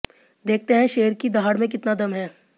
देखते हैं शेर की दहाड़ में कितना दम है